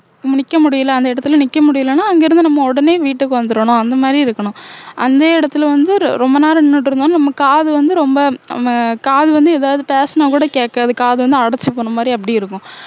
நிக்க முடியல அந்த இடத்துல நிக்க முடியலன்னா அங்கிருந்து நம்ம உடனே வீட்டுக்கு வந்துரனும் அந்த மாதிரி இருக்கணும் அந்த இடத்துல வந்து ரொம்ப நேரம் நின்னுட்டு இருந்தோம் நம்ம காது வந்து ரொம்ப நம்ம காது வந்து ஏதாவது பேசினா கூட கேட்காது காது வந்து அடைச்சு போன மாதிரி அப்படி இருக்கும்